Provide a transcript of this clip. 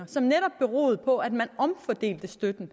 som netop beroede på at man omfordelte støtten